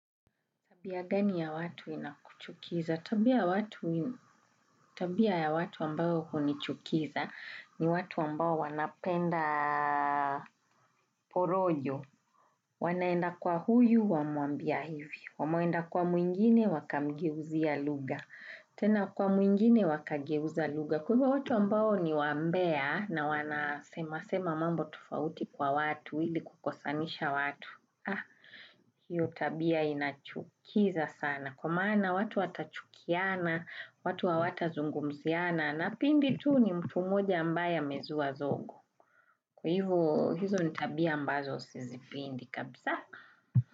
Tabia gani ya watu inakuchukiza? Tabia ya watu ambao huo nichukiza ni watu ambao wanapenda porojo. Wanaenda kwa huyu, wamuambia hivi. Wamaenda kwa muingine, wakamgeuzia luga. Tena kwa muingine, wakageuzia luga. Kwa hivyo watu ambao ni wambea na wanasema mambo tofauti kwa watu, hili kukosanisha watu. Hiyo tabia inachukiza sana. Na kwa maana watu watachukiana, watu wa watazungumziana na pindi tu ni mtu moja ambaye amezua zogo. Kwa hivo hizo nitabia ambazo sisi pendi kabisa.